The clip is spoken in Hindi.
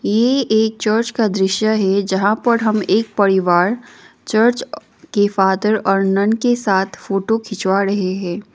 ये एक चर्च का दृश्य है जहां पर हम एक परिवार चर्च के फादर और नन के साथ फोटो खिंचवा रहे है।